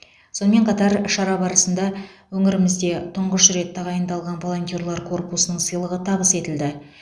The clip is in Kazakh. сонымен қатар шара барысында өңірімізде тұңғыш рет тағайындалған волонтерлар корпусының сыйлығы табыс етілді